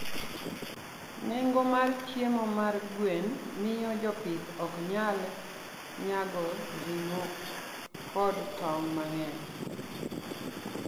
Nengo mar chiemo mar gwen miyo jopith ok nyal nyago ring'o kod tong' mang'eny.